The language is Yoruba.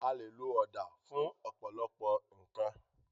A lè lo ọ̀dà fún ọ̀pọ̀lọpọ̀ nǹkan